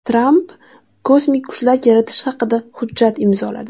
Tramp kosmik kuchlar yaratish haqida hujjat imzoladi.